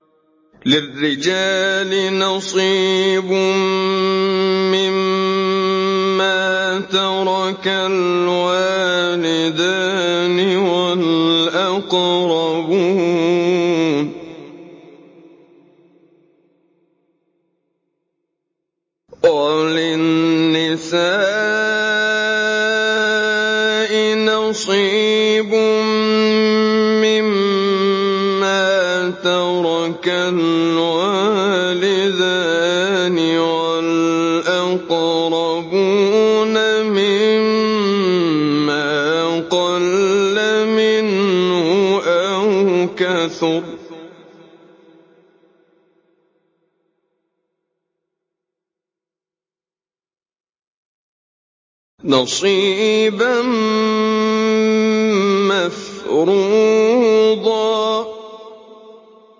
لِّلرِّجَالِ نَصِيبٌ مِّمَّا تَرَكَ الْوَالِدَانِ وَالْأَقْرَبُونَ وَلِلنِّسَاءِ نَصِيبٌ مِّمَّا تَرَكَ الْوَالِدَانِ وَالْأَقْرَبُونَ مِمَّا قَلَّ مِنْهُ أَوْ كَثُرَ ۚ نَصِيبًا مَّفْرُوضًا